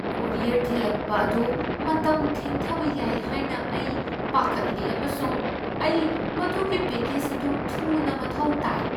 Courier ꯊꯤꯂꯛꯄ ꯑꯗꯨ ꯃꯇꯝ ꯊꯦꯡꯊꯕ ꯌꯥꯏ ꯍꯥꯏꯅ ꯑꯩ ꯄꯥꯈꯠꯂꯤ, ꯑꯃꯁꯨꯡ ꯑꯩ ꯃꯗꯨꯒꯤ ꯄꯦꯀꯦꯖ ꯑꯗꯨ ꯊꯨꯅ ꯃꯊꯧ ꯇꯥꯏ ꯫